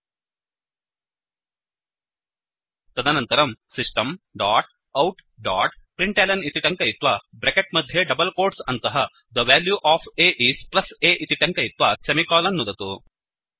तदनन्तरं system dot out dot println इति टङ्कयित्वा ब्रेकेट् मध्ये डबल् कोट्स् अन्तः the value of a is plus a इति टङ्कयित्वा सेमिकोलन् नुदतु